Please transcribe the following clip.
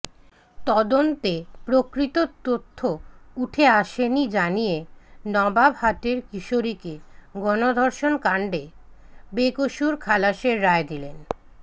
তদন্তে প্রকৃত তথ্য উঠে আসেনি জানিয়ে নবাবহাটের কিশোরীকে গণধর্ষণ কাণ্ডে বেকসুর খালাসের রায় দিলেন